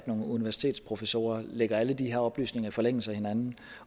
nogle universitetsprofessorer lægger alle de her oplysninger i forlængelse af hinanden